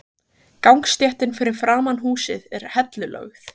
Gangstéttin fyrir framan húsið er hellulögð.